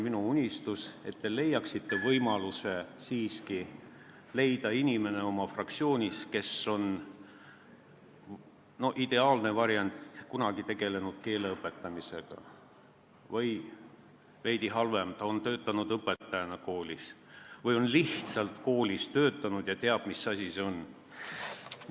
Minu unistus on, et te leiaksite võimaluse valida oma fraktsioonist inimene, kes on – see oleks ideaalne variant – kunagi tegelenud keele õpetamisega või – veidi halvem variant – on töötanud õpetajana koolis või on lihtsalt koolis töötanud ja teab, mis asi see on.